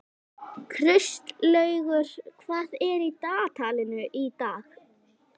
Kristlaugur, hvað er í dagatalinu í dag?